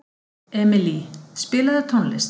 Emilý, spilaðu tónlist.